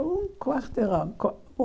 Um quarteirão. co um